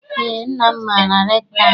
Eé, nna m maara rektọ ahụ.